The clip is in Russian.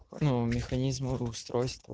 ну механизм или устройство